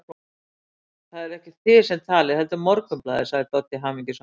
Það eruð ekki þið sem talið, heldur Morgunblaðið, sagði Doddi hamingjusamur.